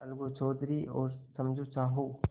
अलगू चौधरी और समझू साहु